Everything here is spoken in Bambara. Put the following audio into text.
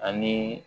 Ani